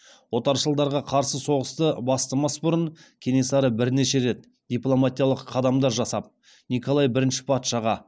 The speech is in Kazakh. отаршылдарға қарсы соғысты бастамас бұрын кенесары бірнеше рет дипломатиялық қадамдар жасап николай бірінші патшаға